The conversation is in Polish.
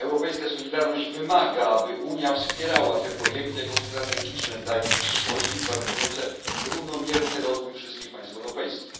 Europejska solidarność wymaga, aby Unia wspierała te projekty jako strategiczne dla jej przyszłości, gwarantujące równomierny rozwój wszystkich państw europejskich.